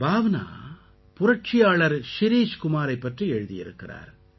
பாவ்னா புரட்சியாளர் ஷிரிஷ் குமாரைப் பற்றி எழுதியிருக்கிறார்